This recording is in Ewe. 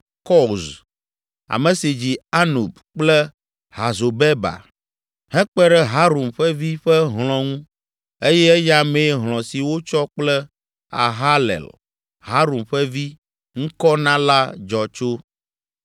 Koz, ame si dzi Anub kple Hazobeba hekpe ɖe Harum ƒe vi ƒe hlɔ̃ ŋu eye eya mee hlɔ̃ si wotsɔ kple Aharlel, Harum ƒe vi, ŋkɔ na la dzɔ tso.